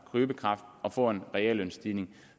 købekraft og får en reel lønstigning